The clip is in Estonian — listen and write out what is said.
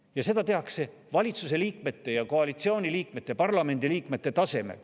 Ja seda tehakse valitsuse, koalitsiooni ja parlamendi liikmete tasemel.